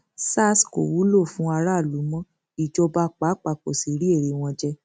sars kò wúlò fún aráàlú mọ ìjọba pàápàá kó sì rí èrè wọn jẹ